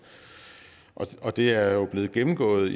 og det er jo blevet gennemgået